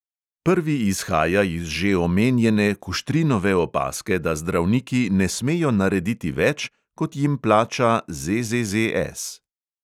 Prvi izhaja iz že omenjene kuštrinove opazke, da zdravniki ne smejo narediti več, kot jim plača ZZZS.